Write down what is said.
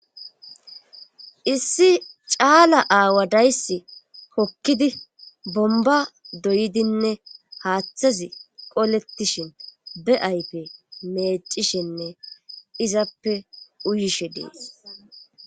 Issi caala aawa dayss kokkidi bomba doydinne haaththazi qoletishin be7aype meecishenne izappe uyishe dees